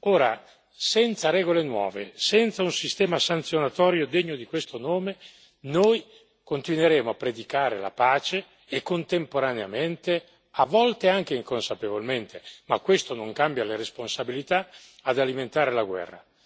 Ora, senza regole nuove, senza un sistema sanzionatorio degno di questo nome, noi continueremo a predicare la pace e contemporaneamente, a volte anche inconsapevolmente ma questo non cambia le responsabilità ad alimentare la guerra.